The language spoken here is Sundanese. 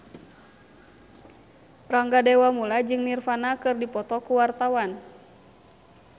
Rangga Dewamoela jeung Nirvana keur dipoto ku wartawan